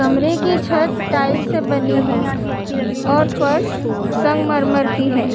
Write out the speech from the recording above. कमरे की छत टाइल्स से बनी है और फर्श संगमरमर की है।